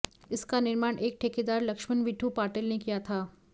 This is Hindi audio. इसका निर्माण एक ठेकेदार लक्ष्मण विठू पाटिल ने किया था